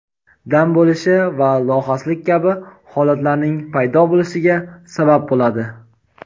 dam bo‘lishi va lohaslik kabi holatlarning paydo bo‘lishiga sabab bo‘ladi.